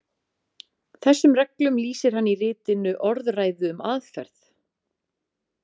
Þessum reglum lýsir hann í ritinu Orðræðu um aðferð.